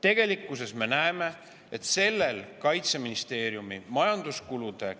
Tegelikkuses me näeme, et järgmise aasta riigieelarves sellel Kaitseministeeriumi majanduskulude